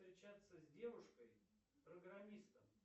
встречаться с девушкой программистом